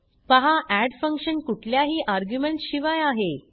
पहा add function कुठल्याही arguments शिवाय आहे